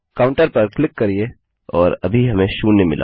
counter पर click करिये और अभी हमें शून्य मिला